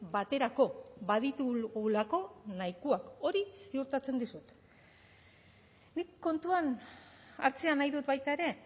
baterako baditugulako nahikoak hori ziurtatzen dizut nik kontuan hartzea nahi dut baita ere